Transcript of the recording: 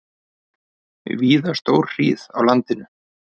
Víða stórhríð á landinu